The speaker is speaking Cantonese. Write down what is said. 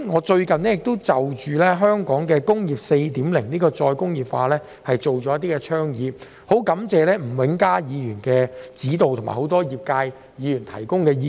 最近，我就香港的"工業 4.0" 再工業化提出了多項倡議，我很感謝吳永嘉議員的指導及一眾業界議員的意見。